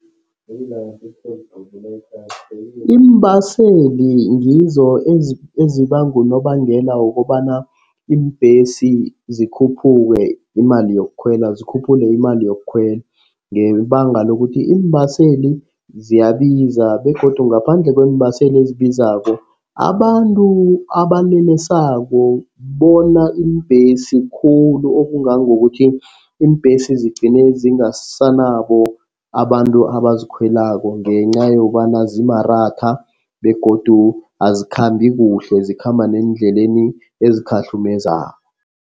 Iimbaseli ngizo ezibanga unobangela wokobana iimbhesi zikhuphule imali yokukhwela. Zikhuphule imali yokukhwela ngebanga lokuthi iimbaseli ziyabiza begodu ngaphandle kweembaseli ezibizako. Abantu abalelesako bona iimbhesi khulu, okungangokuthi iimbhesi zigcine zingasanabo abantu abazikhwelako ngenca yokobana zimaratha begodu azikhambi kuhle. Zikhamba neendleleni ezikhahlumezako.